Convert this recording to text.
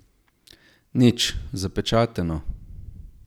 Nič, zapečateno.